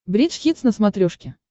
бридж хитс на смотрешке